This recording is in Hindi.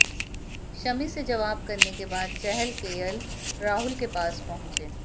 शमी से सवाल जवाब करने के बाद चहल केएल राहुल के पास पहुंचे